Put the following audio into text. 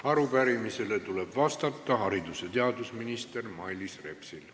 Arupärimisele tuleb vastata haridus- ja teadusminister Mailis Repsil.